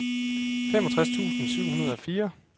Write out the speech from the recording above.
femogtres tusind syv hundrede og fire